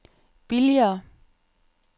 billigere